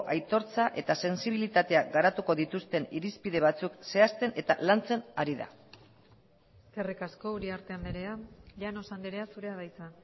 aitortza eta sentsibilitatea garatuko dituzten irizpide batzuk zehazten eta lantzen ari da eskerrik asko uriarte andrea llanos andrea zurea da hitza